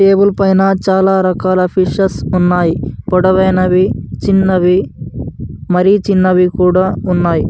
Table పైన చాల రకాల ఫిషెస్ ఉన్నాయ్ పొడవైనవి చిన్నవి మరి చిన్నవి కూడా ఉన్నాయి.